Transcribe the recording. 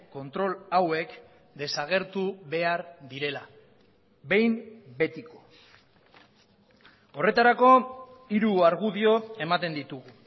kontrol hauek desagertu behar direla behin betiko horretarako hiru argudio ematen ditugu